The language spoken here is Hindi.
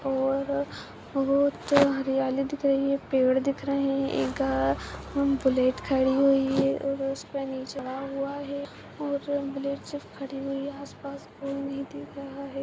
और बहुत हरियाली दिख रही है पेड़ दिख रहे हैं एक अ बुलेट खड़ी हुई है और उसपे चढ़ा हुआ है और बुलेट सिर्फ खड़ी हुई है उसके आस पास कोई नही दिखाई दे रहा है।